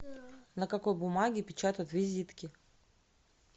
на какой бумаге печатают визитки